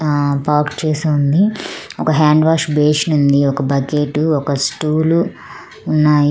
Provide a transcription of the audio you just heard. ఆ పార్క్ చేసి ఉంది. ఒక హ్యాండ్ వాష్ బేసిన్ ఉంది ఒక బకెటు ఒక స్టూలు ఉన్నాయి.